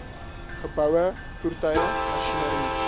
geboue voertuie masjinerie